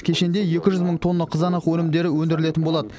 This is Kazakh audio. кешенде екі жүз мың тонна қызанақ өнімдері өндірілетін болады